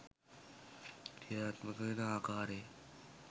ක්‍රියාත්මක වෙන අකාරය